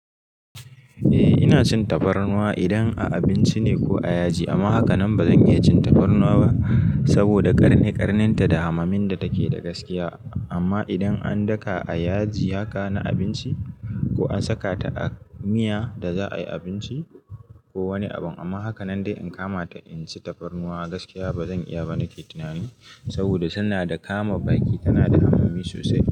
Eh ina cin tafarnuwa idan a abinci ne ko a yaji. Amma hakanan bazan iya cin tafarnuwa ba saboda ƙarni ƙanin ta da hamamin da take da gaskiya. Amma idan an daka a yaji haka na abinci ko an saka ta a miya da za a yi abinci ko wani abin. Amma hakanan dai in kama ta in ci tafarnuwa gaskiya bazan iya ba nake tunani. Saboda tana da kama baki tana da hamami sosai.